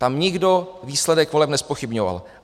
Tam nikdo výsledek voleb nezpochybňoval.